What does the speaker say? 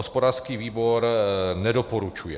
Hospodářský výbor nedoporučuje.